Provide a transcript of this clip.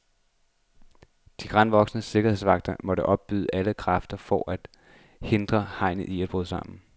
De granvoksne sikkerhedsvagter måtte opbyde alle kræfter for at hindre hegnet i at bryde sammen.